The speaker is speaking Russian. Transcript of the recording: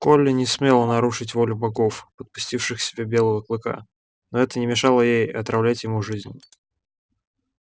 колли не смела нарушить волю богов подпустивших к себе белого клыка но это не мешало ей отравлять ему жизнь